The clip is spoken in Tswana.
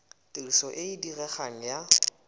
tiriso e e diregang ya